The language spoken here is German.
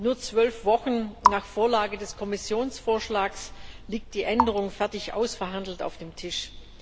Nur zwölf Wochen nach der Vorlage des Kommissionsvorschlags liegt die Änderung fertig ausverhandelt auf dem Tisch.